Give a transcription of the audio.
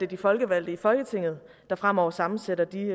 de folkevalgte i folketinget der fremover sammensætter de